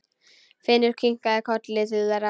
Finnur kinkaði kolli til þeirra.